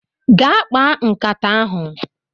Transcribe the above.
gaa kpaa nkata ahu